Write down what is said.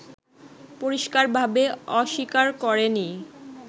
পরিষ্কারভাবে অস্বীকার করেনি